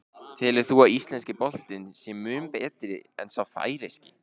Telur þú að íslenski boltinn sé mun betri en sá færeyski?